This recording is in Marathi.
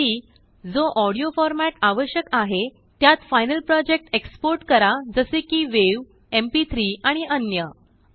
शेवटी जो ऑडियो फॉर्मेट आवश्यक आहे त्यातफ़ाइनल प्रोजेक्ट एक्सपोर्ट करा जसे किwav एमपी3 आणि अन्य